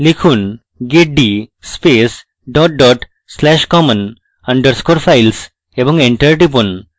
লিখুন: get d space dot dot slash common underscore files এবং enter টিপুন